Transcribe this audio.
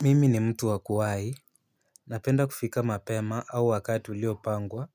Mimi ni mtu wa kuwahi. Napenda kufika mapema au wakati uliopangwa.